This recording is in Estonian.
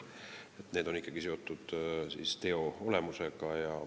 Karistus on ikkagi seotud teo olemusega.